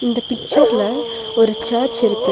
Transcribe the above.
இந்த பிச்சர்ல ஒரு சர்ச் இருக்கு.